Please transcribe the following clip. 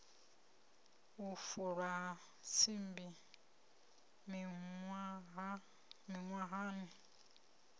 u fulwa ha tsimbi miṅwahani